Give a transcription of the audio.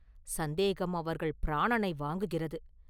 சந்தேகம் அவர்கள் பிராணனை வாங்குகிறது.